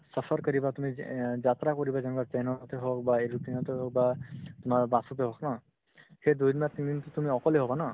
suffer কৰিবা তুমি অ যাত্ৰা কৰিবা যেনেকুৱা train তে হওক বা aeroplane তে হওক বা তোমাৰ bus তে হওক না সেই দুদিন বা তিনিদিন to তুমি অকলে হ'বা ন